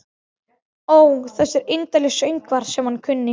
Ó þessir indælu söngvar sem hann kunni.